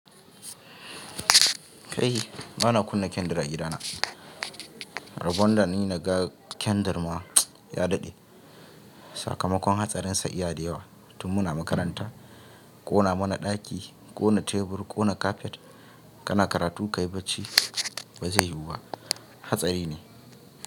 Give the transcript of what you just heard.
Kai ba na kunna kendir a gidana. Rabon da ni naga kendir ma ya daɗe. Sakamakon hatsarin sa iyalda yawa. Tummuna makaranta, ƙona mana ɗaki, ƙona tebur, ƙona kafet. Kana karatu ka yi bacci ba zai yiwu ba. Hatsari ne.